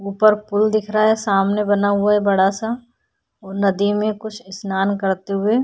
ऊपर पुल दिख रहा है सामने बना हुआ है बड़ा सा और नदी में कुछ स्नान करते हुए --